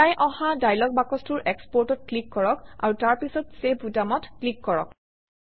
ওলাই অহা ডায়লগ বাকচটোৰ Export অত ক্লিক কৰক আৰু তাৰপিছত চেভ বুটামত ক্লিক কৰক